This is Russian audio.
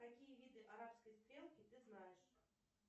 какие виды арабской стрелки ты знаешь